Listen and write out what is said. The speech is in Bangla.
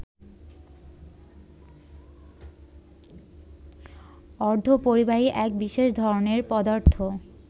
অর্ধপরিবাহী এক বিশেষ ধরণের পদার্থ